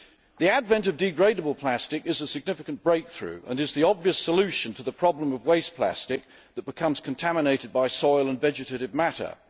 The advent of degradable plastic is a significant breakthrough and is the obvious solution to the problem of waste plastic that becomes contaminated by soil and vegetative matter.